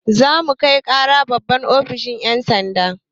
Za mu kai ƙara babban ofishin yan' sanda.